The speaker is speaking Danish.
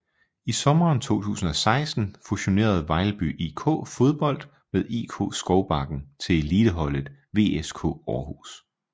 I sommeren 2016 fusionerede Vejlby IK Fodbold med IK Skovbakken til eliteholdet VSK Aarhus